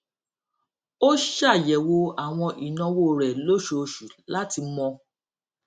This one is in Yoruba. ó ṣàyèwò àwọn ìnáwó rẹ lóṣooṣù láti mọ